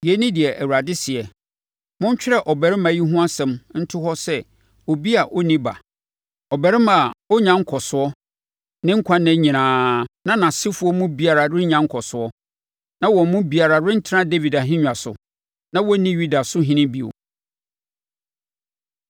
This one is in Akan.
Yei ne deɛ Awurade seɛ: “Montwerɛ ɔbarima yi ho asɛm nto hɔ te sɛ obi a ɔnni ba, ɔbarima a ɔrennya nkɔsoɔ ne nkwa nna nyinaa na nʼasefoɔ mu biara renya nkɔsoɔ, na wɔn mu biara rentena Dawid ahennwa so na wɔrenni Yuda so ɔhene bio.”